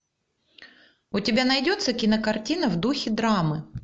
у тебя найдется кинокартина в духе драмы